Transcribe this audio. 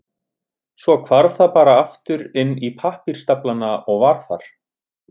Svo hvarf það bara aftur inn í pappírsstaflana og var þar.